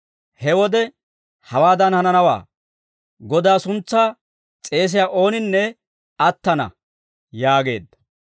He wode hawaadan hananawaa; Godaa suntsaa s'eesiyaa ooninne attana› yaageedda.